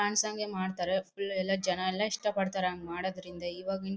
fans ಹಂಗೆ ಮಾಡ್ತಾರೆ full ಎಲ್ಲ ಜನ ಎಲ್ಲ ಇಷ್ಟ ಪಡ್ತಾರೆ ಹ್ಯಾಂಗ ಮಾಡೋದ್ರಿಂದ